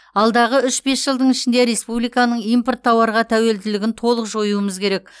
алдағы үш бес жылдың ішінде республиканың импорт тауарға тәуелділігін толық жоюымыз керек